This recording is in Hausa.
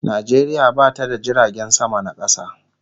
Najeriya bata da jiragen sama na kasa